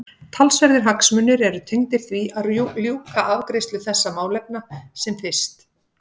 Talsverðir hagsmunir eru tengdir því að ljúka afgreiðslu þessara málefna sem fyrst.